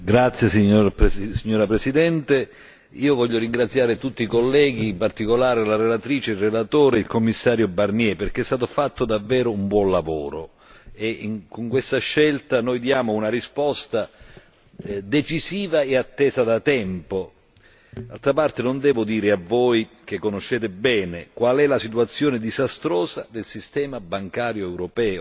Signora Presidente, onorevoli colleghi, vorrei ringraziare tutti i colleghi, in particolare la relatrice e il relatore, e il Commissario Barnier, perché è stato fatto davvero un buon lavoro e in questa scelta noi diamo una risposta decisiva e attesa da tempo. D'altra parte non lo devo dire a voi che la conoscete bene, qual è la situazione disastrosa del sistema bancario europeo.